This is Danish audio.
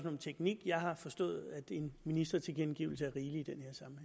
om teknik jeg har forstået at en ministertilkendegivelse er rigelig